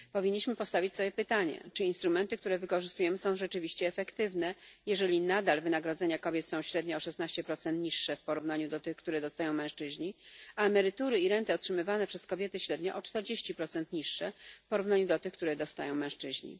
Powinniśmy postawić sobie pytanie, czy instrumenty, które wykorzystujemy, są rzeczywiście efektywne, jeżeli nadal wynagrodzenia kobiet są średnio o 16 niższe w porównaniu do tych, które dostają mężczyźni, a emerytury i renty otrzymywane przez kobiety średnio o 40 niższe w porównaniu do tych, które dostają mężczyźni.